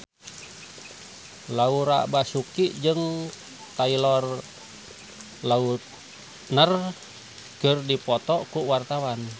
Laura Basuki jeung Taylor Lautner keur dipoto ku wartawan